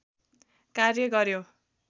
कार्य गर्यो